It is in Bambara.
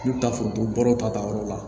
N'u bɛ taa fɔ baro ta yɔrɔ la